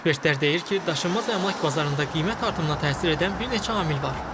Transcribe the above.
Ekspertlər deyir ki, daşınmaz əmlak bazarında qiymət artımına təsir edən bir neçə amil var.